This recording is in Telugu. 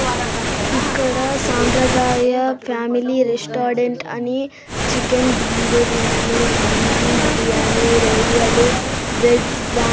ఇక్కడ సాంప్రదాయ ఫ్యామిలీ రెస్టాడెంట్ అని చికెన్ దమ్ బిర్యాని మండీ బిర్యానీ రొయ్యలు వెజ్ వా--